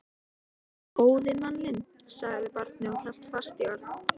Bara góði manninn, sagði barnið og hélt fast í Örn.